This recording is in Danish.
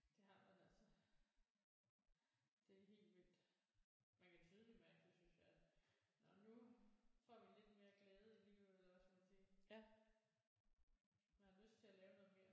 Det har man altså det er helt vildt man kan tydeligt mærke det synes jeg altså nå nu får vi lidt mere glæde i livet eller hvad skal man sige man har lyst til at lave noget mere